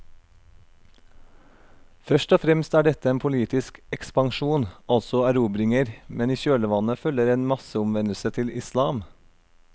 Først og fremst er dette en politisk ekspansjon, altså erobringer, men i kjølvannet følger en masseomvendelse til islam.